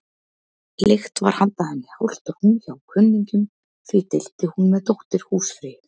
Leigt var handa henni hálft rúm hjá kunningjum, því deildi hún með dóttur húsfreyju.